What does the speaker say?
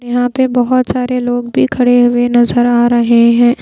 यहां पे बहोत सारे लोग भी खड़े हुए नजर आ रहे हैं।